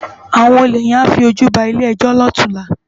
Áwòn ólé yèn á fi ójú bá ilé èjò lòtúnlá